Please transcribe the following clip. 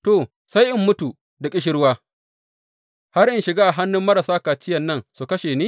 To, sai in mutu da ƙishirwa, har in shiga a hannun marasa kaciyan nan su kashe ni?